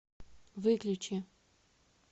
выключи